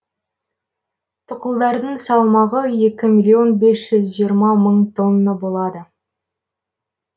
тұқылдардың салмағы екі миллион бес жүз жиырма мың тонна болады